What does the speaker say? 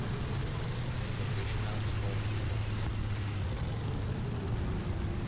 professional sport sponsors